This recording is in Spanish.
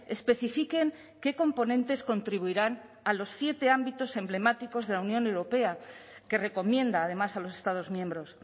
especifiquen qué componentes contribuirán a los siete ámbitos emblemáticos de la unión europea que recomienda además a los estados miembros